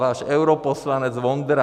Váš europoslanec Vondra.